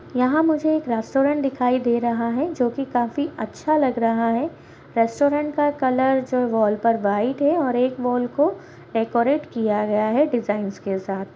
यहाँ मुझे एक रेस्टोरेंट दिखाई दे रहा है जो कि काफीअच्छा लग रहा है रेस्टोरेंट का कलर जो वॉल पर व्हाइट है और एक वॉल को डेकोरेट किया गया है डिजाइंस के साथ ---